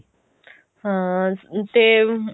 ਹਾਂ ਤੇ